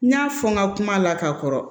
N y'a fɔ n ka kuma la ka kɔrɔ